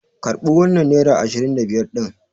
Karɓi wannan nera ashirin da biyar ɗin!